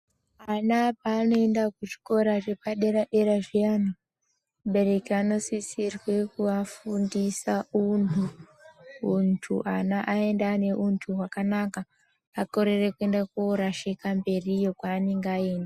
Ana paanoenda kuzvikora zvepadera dera zviyani mubereki anosisirwe kuvafundisa untu ana aende aine untu wakanaka akorere kuenda korashika mberi iyo kwaanenge aenda.